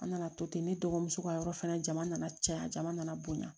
An nana to ten ne dɔgɔmuso ka yɔrɔ fɛnɛ jama nana caya jama nana bonya